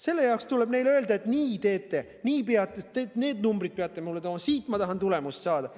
Selle jaoks tuleb neile öelda, et nii teete, nii peate need numbrid mulle tooma, siit ma tahan tulemust saada.